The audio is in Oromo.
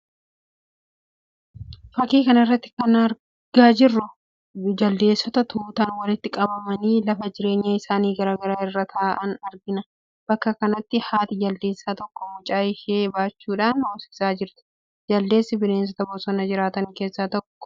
Fakkii kana irratti kan nuti arginu, jaldeessota tutaan walitti qabamanii lafa jireenya isaanii gaara irra taa'an argina. Bakka kanattis haati jaldeessaa tokko mucaa ishee baachuudhaan hoosisaa jirti. Jaldeessi bineensota bosona jiraatan keessaa tokko kan ta'anidha.